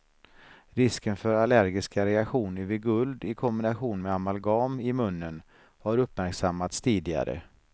Risken för allergiska reaktioner vid guld i kombination med amalgam i munnen har uppmärksammats tidigare.